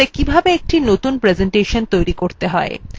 impressa কিভাবে কতুন presentation তৈরী করতে হয়